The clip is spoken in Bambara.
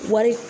Wari